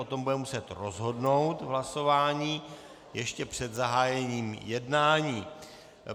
O tom budeme muset rozhodnout v hlasování ještě před zahájením jednání.